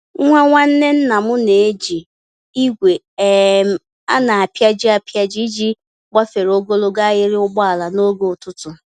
Nwa Nwanne ńnàm na-eji igwe um a na-apịaji apịaji iji gbafere ogologo ahiri ụgbọala n'oge ụtụtụ